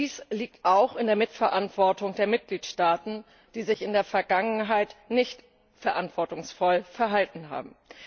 Dies liegt auch in der Mitverantwortung der Mitgliedstaaten, die sich in der Vergangenheit nicht verantwortungsvoll verhalten haben.